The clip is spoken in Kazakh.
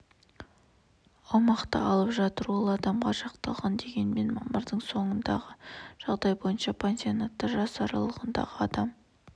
аумақты алып жатыр ол адамға шақталған дегенмен мамырдың соңындағы жағдай бойынша пансионатта жас аралығындағы адам